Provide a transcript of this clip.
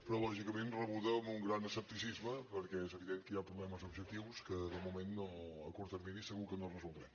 però lògicament rebuda amb un gran escepticisme perquè és evident que hi ha problemes objectius que de moment a curt termini segur que no resoldrem